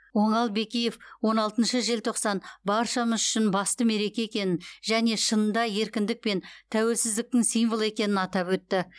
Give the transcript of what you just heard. оңал бекиев он алтыншы желтоқсан баршамыз үшін басты мереке екенін және шынында еркіндік пен тәуелсіздіктің символы екенін атап өтті